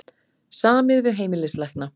Samið við heimilislækna